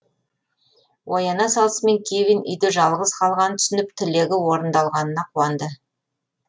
ояна салысымен кевин үйде жалғыз қалғанын түсініп тілегі орындалғанына қуанады